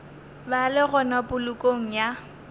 ba le gona polokong ya